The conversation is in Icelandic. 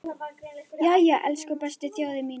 Jæja, elsku besta þjóðin mín!